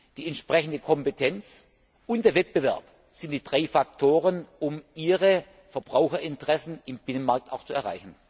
die entsprechende Kompetenz und der Wettbewerb sind die drei Faktoren, um ihre Verbraucherinteressen im Binnenmarkt auch zu erreichen.